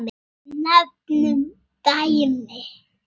Nefnum dæmi.